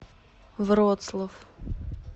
вроцлав